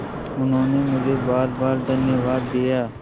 उन्होंने मुझे बारबार धन्यवाद दिया